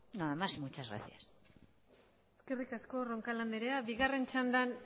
nada más y muchas gracias eskerrik asko roncal andrea bigarren txandan